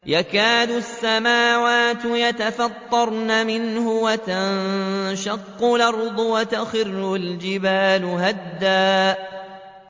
تَكَادُ السَّمَاوَاتُ يَتَفَطَّرْنَ مِنْهُ وَتَنشَقُّ الْأَرْضُ وَتَخِرُّ الْجِبَالُ هَدًّا